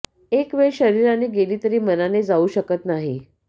एक वेळ शरीराने गेली तरी मनाने जाऊ शकत नाही